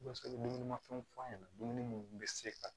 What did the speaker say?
fɛnw f'a ɲɛna dumuni mun bɛ se ka